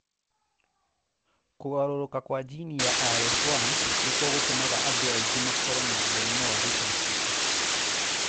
Kũgarũrũka kwa jini ya RS1 nĩkuo gũtũmaga andũ aingĩ makorũo na mũrimũ wa retinoschisis.